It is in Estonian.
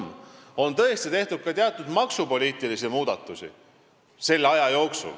Tõesti, selle aja jooksul on tehtud ka teatud maksupoliitilisi muudatusi.